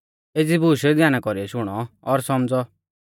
एज़ी बूश ध्याना कौरीऐ शुणौ और सौमझ़ौ